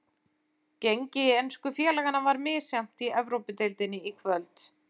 Gengi ensku félaganna var misjafnt í Evrópudeildinni í kvöld.